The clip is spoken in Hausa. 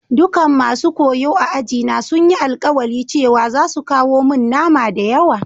Dukan masun koyo a'aji na sun yi alkawali cewa zasu kawo mun nama da yawa.